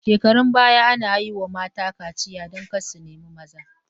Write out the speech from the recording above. Shekarun baya ana yi wa mata kaciya don kar su nemi maza